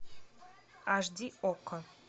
аш ди окко